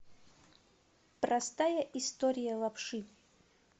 простая история лапши